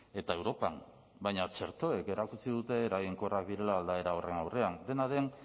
eta europan baina txertoek erakutsi dute eraginkorrak direla aldaera horren aurrean dena den